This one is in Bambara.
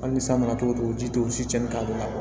Hali ni san nana cogo o cogo ji tɛ u si cɛnni ka don a la